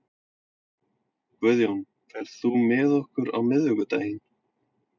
Guðjón, ferð þú með okkur á miðvikudaginn?